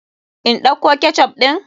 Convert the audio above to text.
In ɗauko ketchup ɗin?